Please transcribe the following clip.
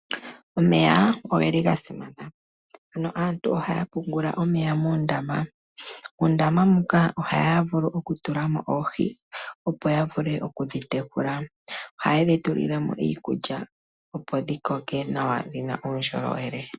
Omeya ogeli gasimana, ano aantu ohaya pungula omeya muundama. uundama muka ohaya vulu oku tulamo oohi opo yavule oku dhitekula, ohaye dhi tulilemo iikulya, opo dhikoke nawa dhina uundjolowele.